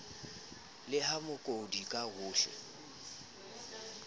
le ya mookodi ka hohle